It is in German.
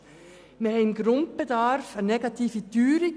Wir haben beim Grundbedarf eine negative Teuerung.